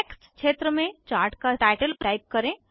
text क्षेत्र में chart का टाइटल टाइप करें